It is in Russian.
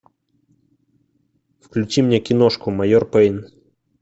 включи мне киношку майор пейн